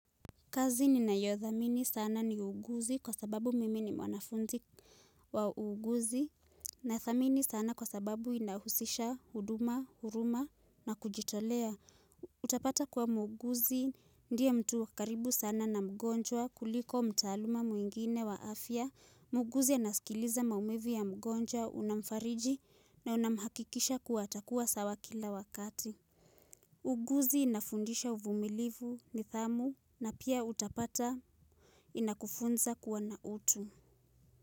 Kazi ninayodhamini sana ni uguzi kwa sababu mimi ni mwanafunzi wa uguzi na thamini sana kwa sababu inahusisha huduma, huruma na kujitolea. Utapata kuwa muuguzi ndiye mtu wa karibu sana na mgonjwa kuliko mtaaluma mwingine wa afya. Muuguzi anasikiliza maumivu ya mgonjwa, unamfariji na unamhakikishia kuwa atakuwa sawa kila wakati. Uguzi inafundisha uvumilivu, nithamu na pia utapata inakufunza kuwa na utu.